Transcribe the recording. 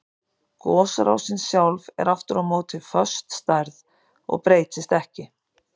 Gosrásin sjálf er aftur á móti föst stærð og breytist ekki.